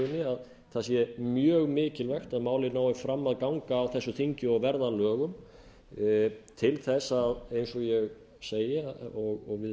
að það sé mjög mikilvægt að málið nái fram að ganga á þessu þingi og verða að lögum til að eins og ég segi og við